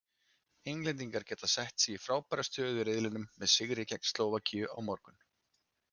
Englendingar geta sett sig í frábæra stöðu í riðlinum með sigri gegn Slóvakíu á morgun.